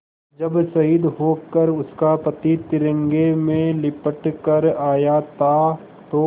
जब शहीद होकर उसका पति तिरंगे में लिपट कर आया था तो